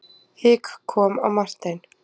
Hik kom á Martein.